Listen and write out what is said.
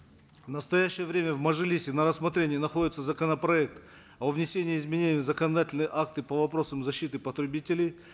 в настоящее время в мажилисе на рассмотрении находится законопроект о внесении изменений в законодательные акты по вопросам защиты потребителей